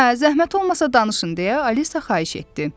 Hə, zəhmət olmasa danışın, - deyə Alisa xahiş etdi.